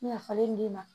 Nafalen d'i ma